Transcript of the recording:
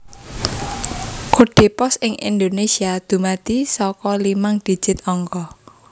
Kodhe pos ing Indonésia dumadi saka limang digit angka